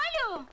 Alo!